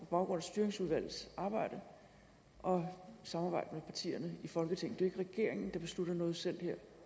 baggrund af styringsudvalgets arbejde og samarbejde med partierne i folketinget jo ikke regeringen der beslutter noget selv her